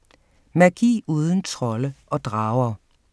Magi uden trolde og drager